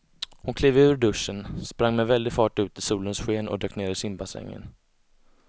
Hon klev ur duschen, sprang med väldig fart ut i solens sken och dök ner i simbassängen.